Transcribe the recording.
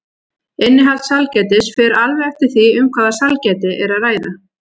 Innihald sælgætis fer alveg eftir því um hvaða sælgæti er að ræða.